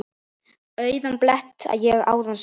Auðan blett ég áðan sá.